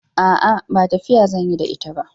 A'a, ba tafiya zan yi da ita ba.